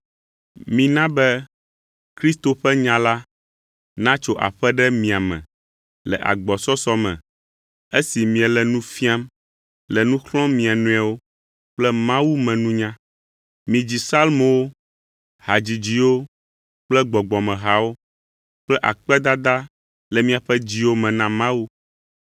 Mina be Kristo ƒe nya la natso aƒe ɖe mia me le agbɔsɔsɔ me, esi miele nu fiam, le nu xlɔ̃m mia nɔewo kple Mawu me nunya. Midzi Psalmowo, hadzidziwo kple gbɔgbɔmehawo kple akpedada le miaƒe dziwo me na Mawu.